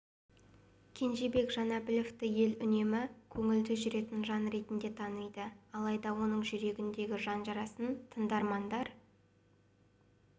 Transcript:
кенжебек жанәбіловті ел үнемі көңілді жүретін жан ретінде таниды алайда оның жүрегіндегі жан жарасын тыңдармандар